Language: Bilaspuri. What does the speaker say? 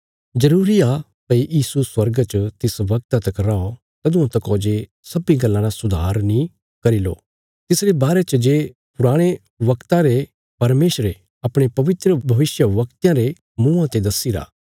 जरूरी आ भई यीशु स्वर्गा च तिस बगता तक रौ तदुआं तका जे सब्बीं गल्लां रा सुधार नीं करी लो तिसरे बारे च जे पुराणे वगता ते परमेशरे अपणे पवित्र भविष्यवक्तयां रे मुँआं ते दस्सीरा